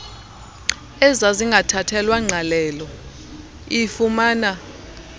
ezazingathathelwa ngqalelo ifumana